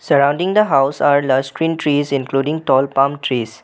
Parading the house are last green trees including tall plum trees.